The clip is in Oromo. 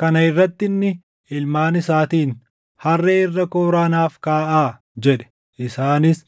Kana irratti inni ilmaan isaatiin, “Harree irra kooraa naaf kaaʼaa” jedhe. Isaanis